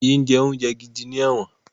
Wọn kì í jẹ oúnjẹ gidi ní ẹ̀wọ̀n